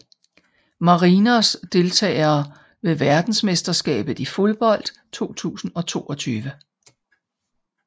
Marinos Deltagere ved verdensmesterskabet i fodbold 2022